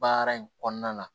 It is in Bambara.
Baara in kɔnɔna na